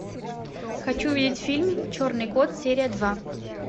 хочу увидеть фильм черный кот серия два